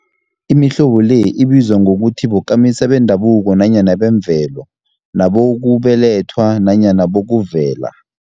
Imihlobo le ibizwa ukuthi bokamisa bendabuko nanyana bemvelo, nabokubelethwa nanyana bokuvela.